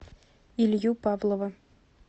илью павлова